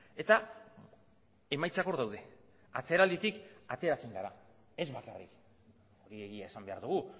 eta emaitzak hor daude atzeralditik ateratzen gara ez bakarrik egia esan behar dugu